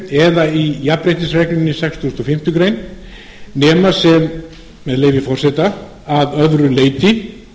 eða í jafnréttisreglunni í sextugasta og fimmtu greinar nema sem með leyfi forseta að öðru leyti